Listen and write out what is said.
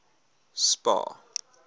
spar